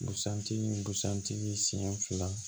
Busan tigi busan tigi siɲɛ fila